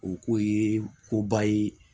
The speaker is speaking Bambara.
O ko ye ko ba ye